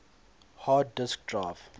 hard disk drive